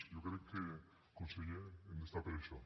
jo crec que conseller hem d’estar per això